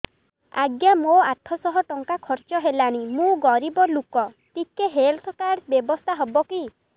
ଆଜ୍ଞା ମୋ ଆଠ ସହ ଟଙ୍କା ଖର୍ଚ୍ଚ ହେଲାଣି ମୁଁ ଗରିବ ଲୁକ ଟିକେ ହେଲ୍ଥ କାର୍ଡ ବ୍ୟବସ୍ଥା ହବ କି